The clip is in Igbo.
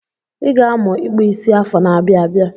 I ga-amụ ịkpụ isi afọ n'abia abịa.